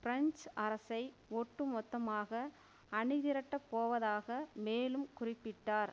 பிரெஞ் அரசை ஒட்டு மொத்தமாக அணி திரட்டப்போவதாக மேலும் குறிப்பிட்டார்